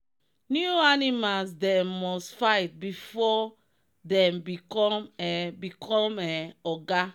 new animals them must fight before thm become um become um oga.